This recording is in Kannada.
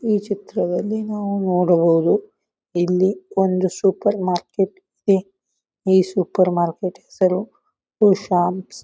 ಚಿತ್ರದಲ್ಲಿ ನಾವು ನೋಡಬಹುದು ಇಲ್ಲಿ ಒಂದು ಸೂಪರ್ ಮಾರ್ಕೆಟ್ ಇದೆ ಈ ಸೂಪರ್ ಮಾರ್ಕೆಟ್ ಹೆಸರು ಶಾಂಪ್ಸ್ .